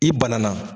I banana